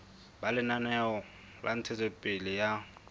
ba lenaneo la ntshetsopele ya